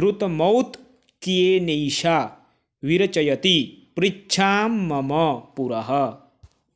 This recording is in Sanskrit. द्रुतमौत्क्येनैषा विरचयति पृच्छां मम पुरः